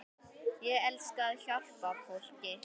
Ég elska að hjálpa fólki.